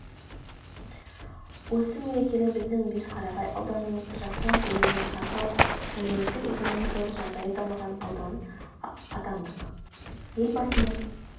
осы мерекені біздің бесқарағай ауданымыз жақсы нәтижелермен қарсы алып әлеуметтік-экономикалық жағдайы дамыған аудан атандық елбасының